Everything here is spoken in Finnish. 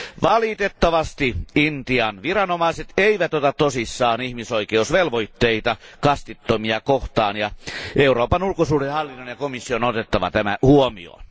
Valitettavasti Intian viranomaiset eivät ota tosissaan ihmisoikeusvelvoitteita kastittomia kohtaan, ja Euroopan ulkosuhdehallinnon ja komission on otettava tämä huomioon.